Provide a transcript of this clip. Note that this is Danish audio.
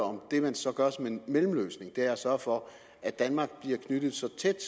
om det man så gør som en mellemløsning er at sørge for at danmark bliver knyttet så tæt